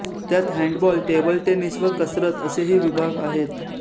त्यात hand ball table tennis व कसरतअसेही विभाग आहेत